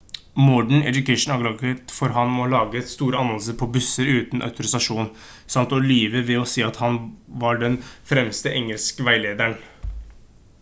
modern education anklaget ham for å ha laget store annonser på busser uten autorisasjon samt å lyve ved å si at han var den fremste engelskveilederen